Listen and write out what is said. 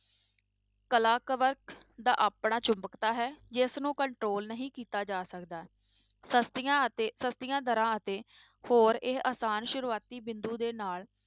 ਕਲਾ ਦਾ ਆਪਣਾ ਚੁੰਬਕਤਾ ਹੈ ਜਿਸਨੂੰ control ਨਹੀਂ ਕੀਤਾ ਜਾ ਸਕਦਾ ਸਸਤੀਆਂ ਅਤੇ ਸਸਤੀਆਂ ਦਰਾਂ ਅਤੇ ਹੋਰ ਇਹ ਆਸਾਨ ਸ਼ੁਰੂਆਤੀ ਬਿੰਦੂ ਦੇ ਨਾਲ,